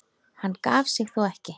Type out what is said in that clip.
Hann gaf sig þó ekki.